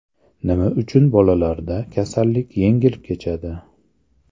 Nima uchun bolalarda kasallik yengil kechadi?